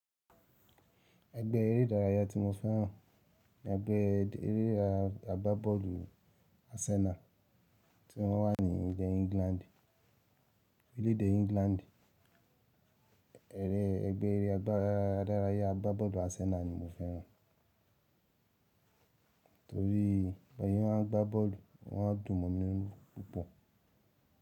Ẹgbẹ́ eré ìdárayá tí mo fẹ́ràn ni ẹgbẹ́ eré agbábọ́ọ̀lù Arsenal tí wọ́n wà ní ilé England. Orílẹ̀ èdè England, ẹgbẹ́ eré ìdárayá agbábọ́ọ̀lù Arsenal ni mo fẹ́ràn, torí bí wọ́n bá gbá bọ́ọ̀lù wọ́n á dùn mọ́ mi púpọ̀.